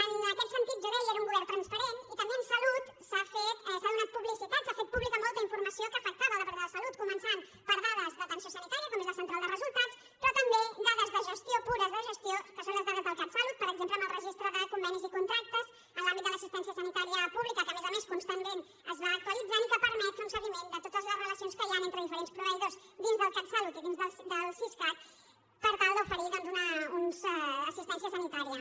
en aquest sentit jo deia era un govern transparent i també en salut s’ha donat publicitat s’ha fet pública molta informació que afectava el departament de salut començant per dades d’atenció sanitària com és la central de resultats però també dades de gestió pures de gestió que són les dades del catsalut per exemple amb el registre de convenis i contractes en l’àmbit de l’assistència sanitària pública que a més a més constantment es va actualitzant i que permet fer un seguiment de totes les relacions que hi han entre diferents proveïdors dins del catsalut i dins del siscat per tal d’oferir doncs una assistència sanitària